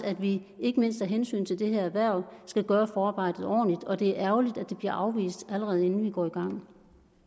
at vi ikke mindst af hensyn til det her erhverv skal gøre forarbejdet ordentligt og det er ærgerligt at det bliver afvist allerede inden vi går i gang